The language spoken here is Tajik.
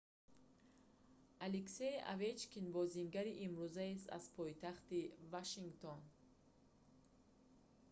алексей овечкин бозингари имрӯзаест аз пойтахти вашингтон